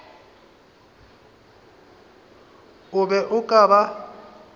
o be o ka ba